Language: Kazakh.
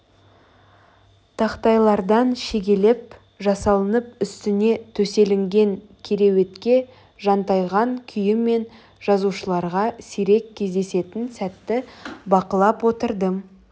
тақтайлардан шегелеп жасалынып үстіне төселінген кереуетке жантайған күйі мен жазушыларға сирек кездесетін сәтті бақылап отырдым